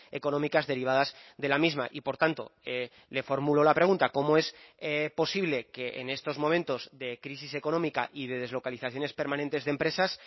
económicas derivadas de la misma y por tanto le formulo la pregunta cómo es posible que en estos momentos de crisis económica y de deslocalizaciones permanentes de empresas